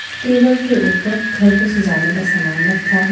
Table के ऊपर घर को सजाने का सामान रखा है।